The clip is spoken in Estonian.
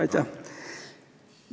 Aitäh!